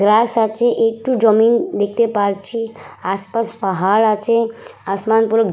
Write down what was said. রাস আছে একটু জমিন দেখতে পারছি আশপাশ পাহাড় আছে। আসমান পুরো --